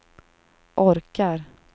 orkar